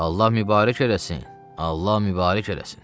Allah mübarək eləsin, Allah mübarək eləsin.